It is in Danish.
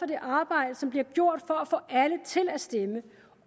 det arbejde som bliver gjort for at få alle til at stemme